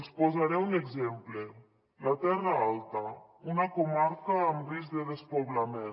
els en posaré un exemple la terra alta una comarca amb risc de despoblament